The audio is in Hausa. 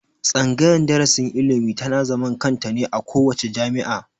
Tsangayar darasin ilimi ta na zaman kanta ne a kowace jami'a